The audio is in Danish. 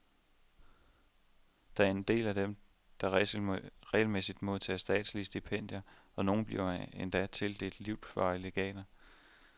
Der er en del af dem, der regelmæssigt modtager statslige stipendier, og nogle bliver endda tildelt livsvarige legater.